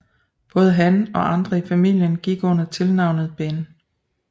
Både han og andre i familien gik under tilnavnet Been